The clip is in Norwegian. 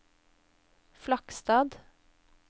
Flakstad